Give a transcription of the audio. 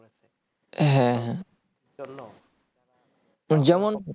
হ্যাঁ আ যেমন